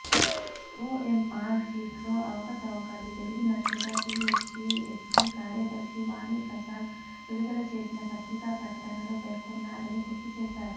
OMR షీట్లో అవకతవకలు జరిగినట్టుగా టిఎస్పిఎస్సి కార్యదర్శి వాణిప్రసాద్ విడుదల చేసిన పత్రికా ప్రకటనలో పేర్కొన్నారని గుర్తు చేశారు